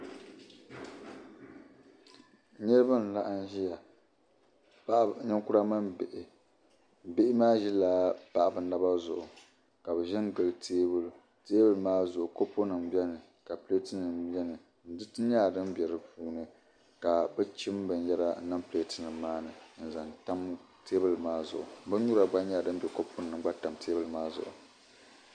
Niriba n-laɣim ʒia. Ninkura mini bihi. Bihi maa ʒila paɣiba naba zuɣu ka bɛ ʒi n-gili teebuli. Teebuli maa zuɣu kopunima beni ka pileetinima beni. Diriti nyɛla dim be di puuni ka bɛ chim binyɛra niŋ pileetinima maa ni n-zaŋ tam teebuli maa zuɣu. Binyura gba nyɛla dim be kopunima ni gba tam teebuli maa zuɣu.